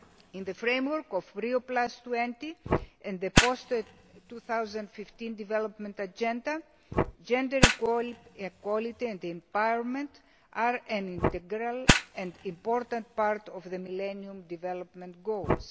In the framework of Rio20, in the post 2015 development agenda, gender equality and empowerment are an integral and important part of the Millennium Development Goals.